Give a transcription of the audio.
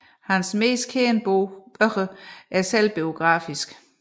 Hans mest kendte bøger er selvbiografiske